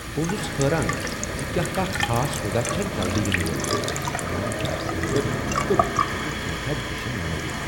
بہٕ اوسٗس حٲران زَِ کیا کانٛہہ خاص سودا چھا جلدٕیہ ینہٕ وول۔ میٚون گیس سلنڈر تہٕ بہٕ ہیكہٕ كینژھاہ جشن منٲوتھ!